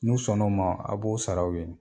N'u sɔn na o ma a b'o sara o ye.